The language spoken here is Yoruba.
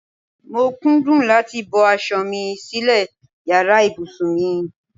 Mo kúndùn láti bọ́ aṣọ mi sílè yàrá ìbùsùn mi.